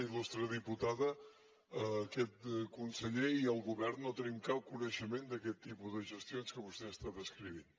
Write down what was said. il·tada aquest conseller i el govern no tenim cap coneixement d’aquest tipus de gestions que vostè està descrivint